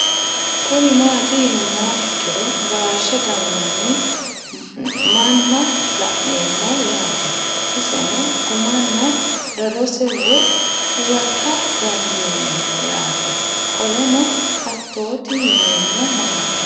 Kuni mati yinumoha ikiro gashe ganan moo manna la'nemo yaate iseno gumana darose woyi huwata dandinemo yaate qoleno hatoti yinemo maati